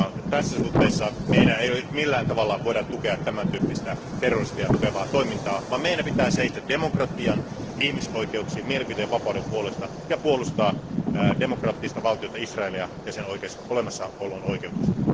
Tässä suhteessa me emme voi millään tavalla tukea tämäntyyppistä terrorismia tukevaa toimintaa, vaan meidän pitää seistä demokratian, ihmisoikeuksien ja mielipiteenvapauden takana ja puolustaa demokraattista valtiota Israelia ja sen olemassaolon oikeutusta.